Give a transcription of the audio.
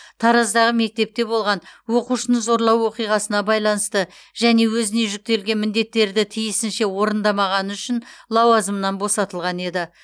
тараздағы мектепте болған оқушыны зорлау оқиғасына байланысты және өзіне жүктелген міндеттерді тиісінше орындамағаны үшін лауазымынан босатылған еді